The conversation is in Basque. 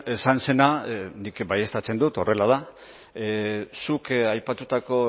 esan zena nik baieztatzen dut horrela da zuk aipatutako